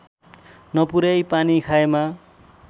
नपुर्‍याई पानी खाएमा